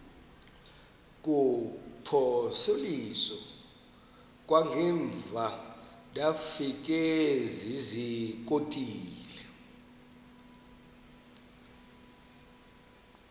kuphosiliso kwangaemva ndafikezizikotile